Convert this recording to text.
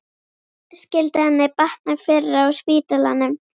Skyldi henni batna fyrr á spítalanum?